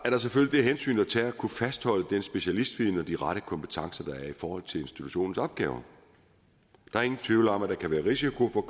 det hensyn at tage at kunne fastholde den specialistviden og de rette kompetencer der er i forhold til institutionens opgaver der er ingen tvivl om at der kan være risiko for